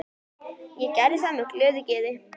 Hún gerði það með glöðu geði.